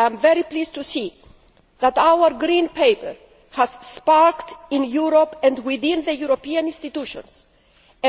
I am pleased to see that our Green Paper has sparked, in Europe and within the European institutions,